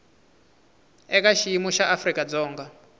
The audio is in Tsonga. eka xiyimo xa afrika dzonga